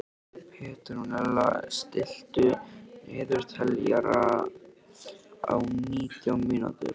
Petrónella, stilltu niðurteljara á nítján mínútur.